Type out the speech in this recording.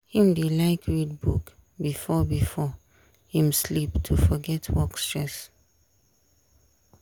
him dey like read book before before him sleep to forget work stress.